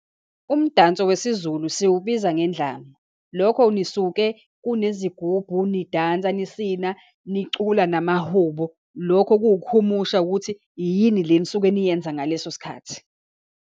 Umdanso wesiZulu siwubiza ngendlamu. Lokho nisuke kunezigubhu, nidansa, nisina, nicula namahubo. Lokho kuwukuhumusha, ukuthi yini le enisuke niyenza ngaleso sikhathi.